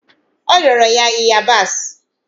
O rịọrọ ya ịyabasị